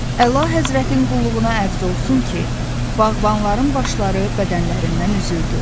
Əla həzvətin qulluğuna ərz olsun ki, bağbanların başları bədənlərindən üzüldü.